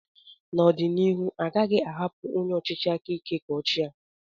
N'ọdịnihu, a gaghị ahapụ onye ọchịchị aka ike ka ochia.